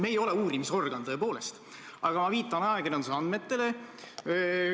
Me ei ole uurimisorgan, tõepoolest, aga ma viitan ajakirjanduse andmetele.